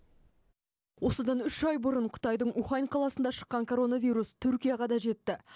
осыдан үш ай бұрын қытайдың ухань қаласында шыққан коронавирус түркияға да жетті